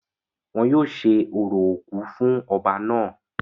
wọn yóò ṣe orò òkú fún ọba náà